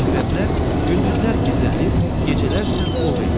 Əqrəblər gündüzlər gizlənir, gecələr isə ov eləyir.